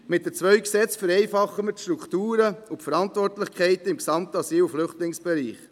Mit den zwei Gesetzen vereinfachen wir die Strukturen und Verantwortlichkeiten im gesamten Asyl- und Flüchtlingsbereich.